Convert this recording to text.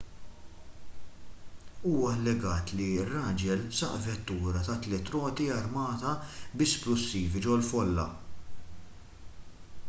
huwa allegat li ir-raġel saq vettura ta' tliet roti armata bi splussivi ġol-folla